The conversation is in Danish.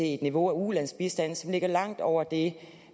et niveau af ulandsbistand som ligger langt over det